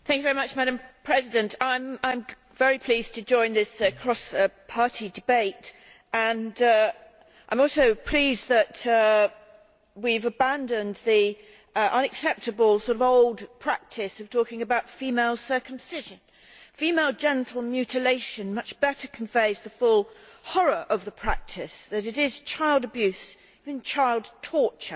Madam President, I am very pleased to join this cross party debate and I am also pleased that we have abandoned the unacceptable old practice of talking about female circumcision. Female genital mutilation much better conveys the full horror of the practice that it is child abuse, even child torture.